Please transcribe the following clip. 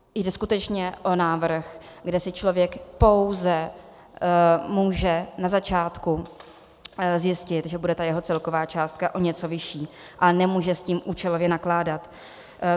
Jde skutečně o návrh, kde si člověk pouze může na začátku zjistit, že bude ta jeho celková částka o něco vyšší, ale nemůže s tím účelově nakládat.